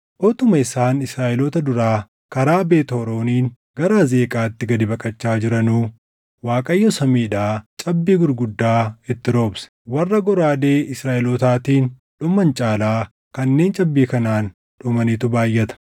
Utuma isaan Israaʼeloota duraa karaa Beet Horooniin gara Azeeqaatti gad baqachaa jiranuu Waaqayyo samiidhaa cabbii gurguddaa itti roobse; warra goraadee Israaʼelootaatiin dhuman caalaa kanneen cabbii kanaan dhumanitu baayʼata.